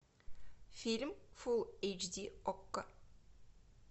фильм фул эйч ди окко